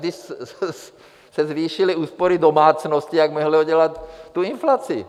Když se zvýšily úspory domácností, jak mohly udělat tu inflaci?